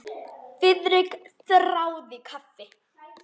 Friðrik þáði kaffi.